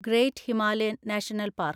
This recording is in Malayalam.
great Himalayan national park